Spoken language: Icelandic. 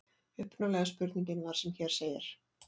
Upprunalega spurningin var sem hér segir: